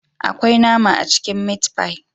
Akwai nama a cikin " meat pie"